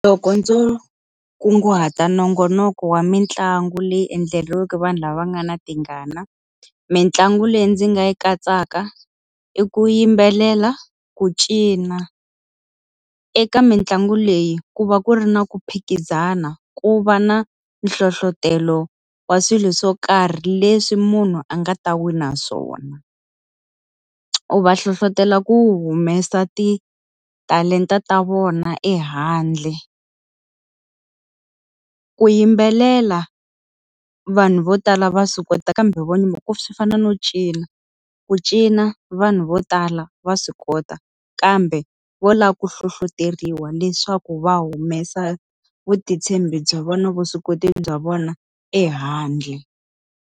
Loko ndzo kunguhata nongonoko wa mitlangu leyi endleriweke vanhu lava nga na tingana. Mintlangu leyi ndzi nga yi katsaka i ku yimbelela, ku cina. Eka mitlangu leyi ku va ku ri na ku phikizana, ku va na hlohletelo wa swilo swo karhi leswi munhu a nga ta wina swona. U va hlohletelo ku humesa titalenta ta vona ehandle. Ku yimbelela, vanhu vo tala va swi kota kambe swi fana no cina, ku cina vanhu vo tala va swi kota kambe vo lava ku hlohloteriwa leswaku va humesa vutitshembi bya vona, vuswikoti bya vona ehandle.